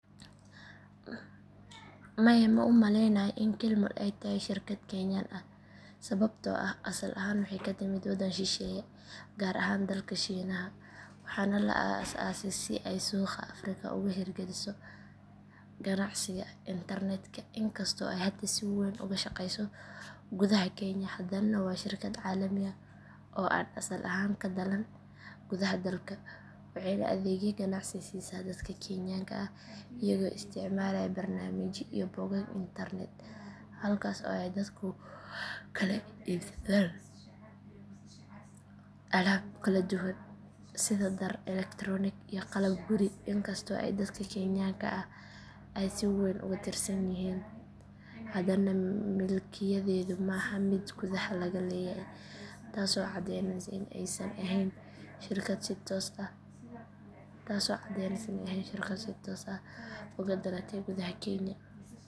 Maya ma u malaynayo in kill mall ay tahay shirkad kenyan ah sababtoo ah asal ahaan waxay ka timid waddan shisheeye gaar ahaan dalka shiinaha waxaana la aasaasay si ay suuqa afrika uga hirgeliso ganacsiga internetka inkastoo ay hadda si weyn uga shaqeyso gudaha kenya haddana waa shirkad caalami ah oo aan asal ahaan ka dhalan gudaha dalka waxayna adeegyo ganacsi siisaa dadka kenyaanka ah iyagoo isticmaalaya barnaamijyo iyo bogag internet halkaas oo ay dadku kala iibsadaan alaab kala duwan sida dhar elektaroonik iyo qalab guri inkastoo ay dadka kenyaanka ah ay si weyn ugu tiirsan yihiin hadana milkiyadeedu ma aha mid gudaha laga leeyahay taasoo caddeyneysa in aysan ahayn shirkad si toos ah uga dhalatay gudaha kenya.